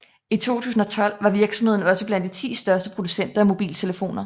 I 2012 var virksomheden også blandt de 10 største producenter af mobiltelefoner